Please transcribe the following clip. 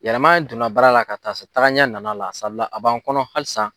Yɛlɛman donna baara la ka taa se tagaɲa nan'a la a b'an kɔnɔ halisa